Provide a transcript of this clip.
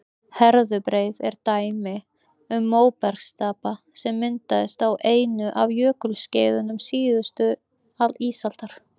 herðubreið er dæmi um móbergsstapa sem myndaðist á einu af jökulskeiðum síðustu ísaldar